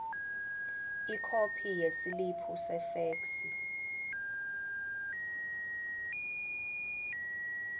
ikhophi yesiliphu sefeksi